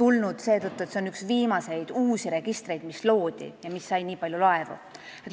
pakkunud seetõttu, et see on üks viimaseid äsja loodud registreid, mis on nii palju laevu saanud.